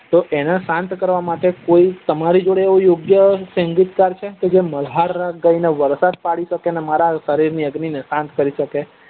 તો એને સાંત કરવા માટે કોઈ એવું યોગ્ય સગીત્કારક છે જે મલ્હાર રાગ ગાઈને વરદાન પડી સકે અને મારા સરીર ની અગ્નિ ને સાંત કરી સકે